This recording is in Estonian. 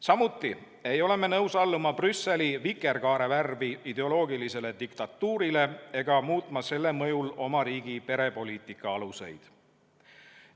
Samuti ei ole me nõus alluma Brüsseli vikerkaarevärvi ideoloogilisele diktatuurile ega muutma selle mõjul oma riigi perepoliitika aluseid.